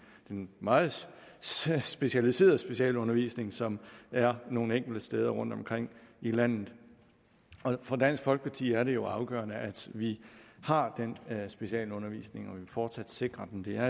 den meget specialiserede specialundervisning som er nogle enkelte steder rundtomkring i landet for dansk folkeparti er det jo afgørende at vi har den specialundervisning og at vi fortsat sikrer den det er